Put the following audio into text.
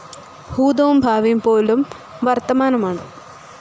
ഭൂതവും ഭാവിയും പോലും വർത്തമാനമാണ്.